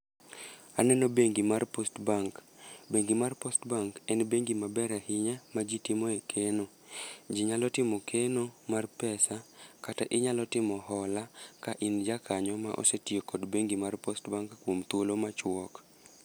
Aneno bengi mar Post Bank, bengi mar Post Bank en bengi maber ahinya ma ji timoe keno. Ji nyalo timo keno mar pesa kata inyalo timo hola ka in ja kanyo ma osetiyo kod bengi mar Post Bank kuom thuolo machwok.